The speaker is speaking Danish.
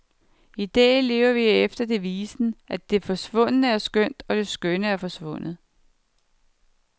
I dag lever vi efter devisen, at det svundne er skønt, og det skønne er forsvundet.